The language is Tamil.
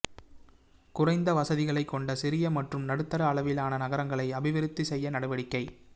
குறைந்த வசதிகளைக் கொண்ட சிறிய மற்றும் நடுத்தர அளவிலான நகரங்களை அபிவிருத்தி செய்ய நடவடிக்கை